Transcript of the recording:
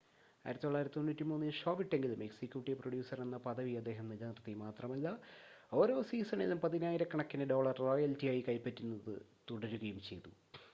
1993-ൽ show വിട്ടെങ്കിലും executive producer എന്ന പദവി അദ്ദേഹം നിലനിർത്തി മാത്രമല്ല ഓരോ സീസണിലും പതിനായിരക്കണക്കിന് ഡോളർ റോയൽറ്റിയായി കൈപ്പറ്റുന്നത് തുടരുകയും ചെയ്തു